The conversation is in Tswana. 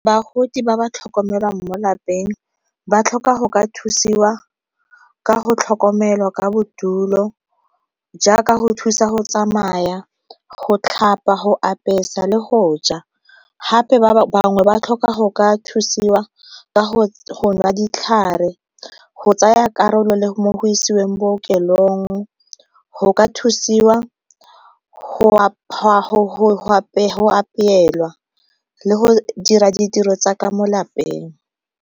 Bagodi ba ba tlhokomelwang mo lapeng ba tlhoka go ka thusiwa ka go tlhokomelwa ka bodulo jaaka go thusa go tsamaya, go tlhapa, go apesa le go ja. Gape bangwe ba tlhoka go ka thusiwa ka go nwa ditlhare, go tsaya karolo le mo isiweng bookelong, go ka thusiwa go apeelwa le go dira ditiro tsa ka mo lapeng.